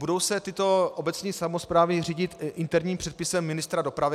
Budou se tyto obecní samosprávy řídit interním předpisem ministra dopravy?